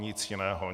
Nic jiného.